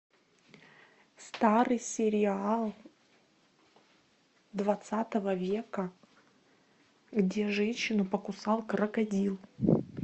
старый сериал двадцатого века где женщину покусал крокодил